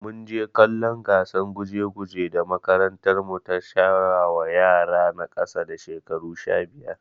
Munje kallon gatsan guje guje da makarantar mu ta shirwa wa yara na kasa da shekaru sha biyar